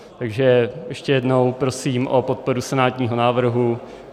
Takže ještě jednou prosím o podporu senátního návrhu.